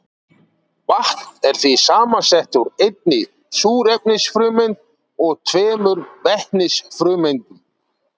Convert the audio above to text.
Vatn er því samsett úr einni súrefnisfrumeind og tveimur vetnisfrumeindum.